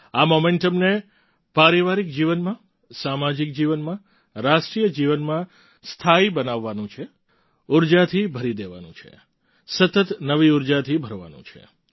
આ મોમેન્ટમને પારિવારિક જીવનમાં સામાજિક જીવનમાં રાષ્ટ્રિય જીવનમાં સ્થાયી બનાવવાનું છે ઉર્જાથી ભરી દેવાનું છે સતત નવી ઉર્જાથી ભરવાનું છે